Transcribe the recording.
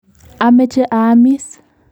Amache aamis.